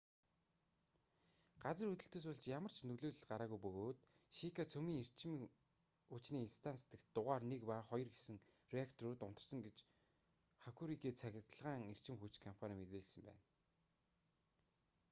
газар хөдлөлтөөс болж ямар ч нөлөөлөл гараагүй бөгөөд шика цөмийн эрчим хүчний станц дахь дугаар 1 ба 2 гэсэн реакторууд унтарсан гэж хокурику цахилгаан эрчим хүч компани мэдээлсэн байна